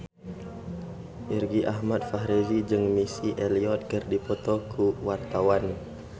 Irgi Ahmad Fahrezi jeung Missy Elliott keur dipoto ku wartawan